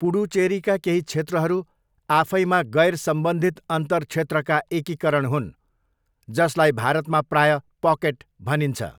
पुडुचेरीका केही क्षेत्रहरू आफैमा गैरसम्बन्धित अन्तर्क्षेत्रका एकीकरण हुन्, जसलाई भारतमा प्रायः 'पकेट' भनिन्छ।